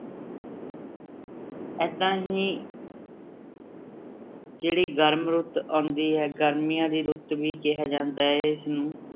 ਏਦਾਂ ਹੀ ਜਿਹੜੀ ਗਰਮ ਰੁੱਤ ਆਉਂਦੀ ਹੈ, ਗਰਮੀਆਂ ਦੀ ਰੁੱਤ ਵੀ ਕਿਹਾ ਜਾਂਦਾ ਹੈ ਇਸਨੂੰ।